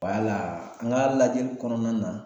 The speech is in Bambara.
Wala an ka lajɛli kɔnɔna na